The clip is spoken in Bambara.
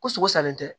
Ko sogo salen tɛ